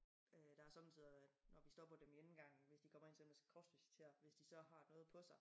Øh der har sommetider været når vi stopper dem i indgangen hvis de kommer ind og sådan og skal kropsvisiteres hvis de så har noget på sig